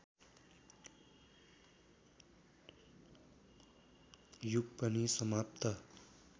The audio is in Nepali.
युग पनि समाप्त